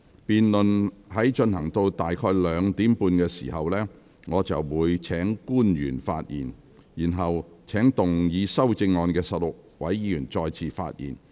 辯論進行至今天下午2時30分左右，我便會請官員發言，然後請動議修正案的16位議員再次發言。